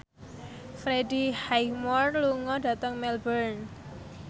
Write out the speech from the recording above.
Freddie Highmore lunga dhateng Melbourne